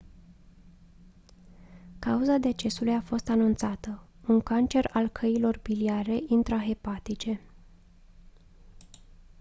cauza decesului a fost anunțată un cancer al căilor biliare intrahepatice